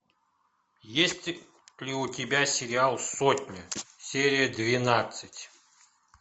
есть ли у тебя сериал сотня серия двенадцать